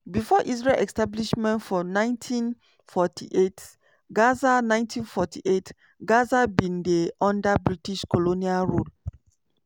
before israel establishment for 1948 gaza 1948 gaza bin dey under british colonial rule.